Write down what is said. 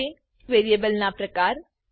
variables variable ના પ્રકાર